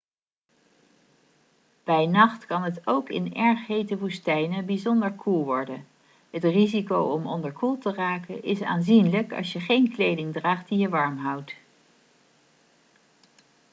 bij nacht kan het ook in erg hete woestijnen bijzonder koel worden het risico om onderkoeld te raken is aanzienlijk als je geen kleding draagt die je warm houdt